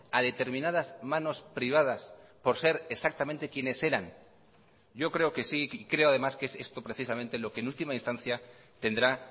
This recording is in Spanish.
a determinadas manos privadas por ser exactamente quienes eran yo creo que sí y creo además que es esto precisamente lo que en última instancia tendrá